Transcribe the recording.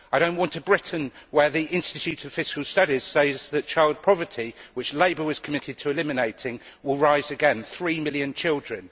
I do not want a Britain where the Institute of Fiscal Studies says that child poverty which Labour was committed to eliminating will rise again to 3 million children